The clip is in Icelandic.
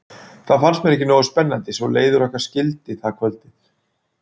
Það fannst mér ekki nógu spennandi svo leiðir okkar skildi það kvöldið.